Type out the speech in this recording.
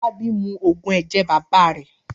Fọlábí mu òògùn ẹ̀jẹ̀ bàbá rẹ̀.